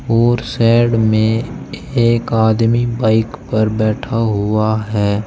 और शेड में एक अदमी बाइक पर बैठा हुआ है।